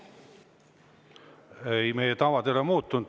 Ei, meie tavad ei ole muutunud.